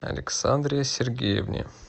александре сергеевне